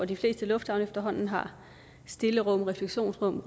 de fleste lufthavne efterhånden har stillerum refleksionsrum